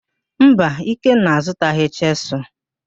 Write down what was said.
Mba, Ikenna azụtaghị chịsụlụ.